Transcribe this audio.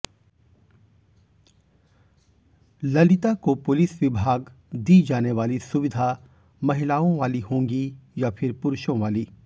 ललिता को पुलिस विभाग दी जाने वाली सुविधा महिलाओं वाली होंगी या फिर पुरुषों वाली